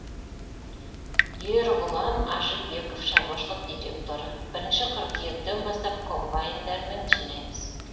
ерғұлан ажибеков шаруашылық директоры бірінші қыркүйектен бастап комбайндармен жинаймыз